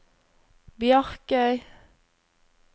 Bjarkøy